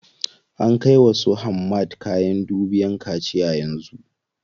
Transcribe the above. An kai wa su Hamad kayan dubiyan kaciya yanzu.